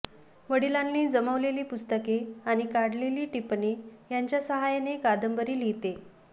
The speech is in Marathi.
वडिलांनी जमवलेली पुस्तके आणि काढलेली टिपणे यांच्या सहाय्याने कादंबरी लिहिते